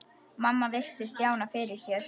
Mamma virti Stjána fyrir sér.